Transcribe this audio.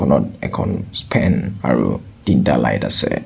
ইয়াত এখন ফেন আৰু তিনিটা লাইট আছে।